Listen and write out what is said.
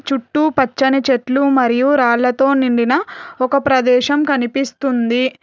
చుట్టూ పచ్చని చెట్లు మరియు రాళ్లతో నిండిన ఒక ప్రదేశం కనిపిస్తుంది.